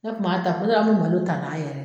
Ne kun b'a kuma dɔw an kun bi malo ta n'a yɛrɛ ye